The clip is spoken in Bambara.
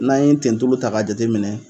N'an ye n tentulu ta ka jateminɛ